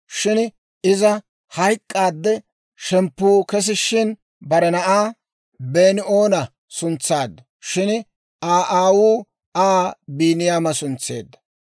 Shin iza hayk'k'aadde, shemppu kesishshin, bare na'aa Been"oona suntsaaddu; shin Aa aawuu Aa Biiniyaama suntseedda.